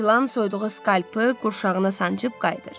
Böyük ilan soyduğu skalpı qurşağına sancıb qayıdır.